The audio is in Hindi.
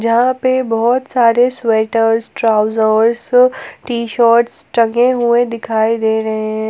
यहां पे बहोत सारे स्वेटर ट्राउजर्स टी शर्ट टंगे हुए दिखाई दे रहे है।